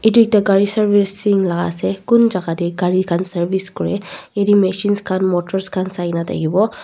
itu ekta gari servicing la ase kun jagah dey gari khan service kure yatey machines khan motors khan sai na thakiwo.